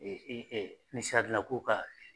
E i e ko ka